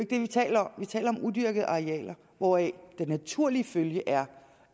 det vi taler om vi taler om udyrkede arealer hvoraf den naturlige følge er